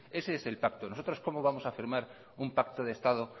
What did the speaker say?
ese es el pacto nosotros cómo vamos a firmar un pacto de estado